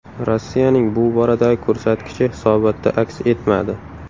Rossiyaning bu boradagi ko‘rsatkichi hisobotda aks etmadi.